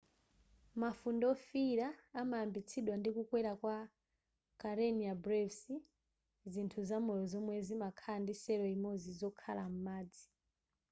mafunde wofiyira amayambitsidwa ndi kukwera kwa karenia brevis zinthu zamoyo zomwe zimakhala ndi cell imodzi zokhala m'madzi